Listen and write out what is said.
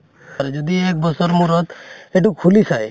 আৰু যদি এক বছৰ মূৰত সেইট খুলি চায়